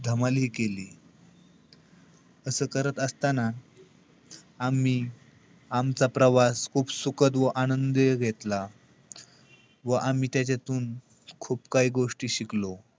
धमालही केली. असं करत असताना आम्ही आमचा प्रवास खूप सुखद व आनंदी घेतला. व आम्ही त्याच्यातून खूप काही गोष्टी शिकलो.